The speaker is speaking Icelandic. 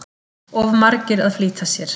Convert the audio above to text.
Of margir að flýta sér